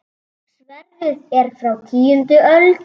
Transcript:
Sverðið er frá tíundu öld.